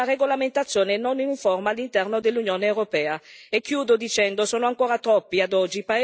Non possiamo lasciare che un tema così importante abbia una regolamentazione non uniforme all'interno dell'Unione europea.